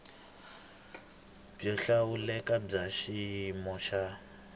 byo hlawuleka bya xiyimo xa